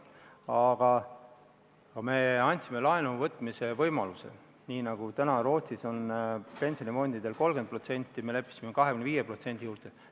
Aga me andsime laenu võtmise võimaluse: Rootsis kehtib praegu pensionifondidel piir 30%, me leppisime kokku 25% juures.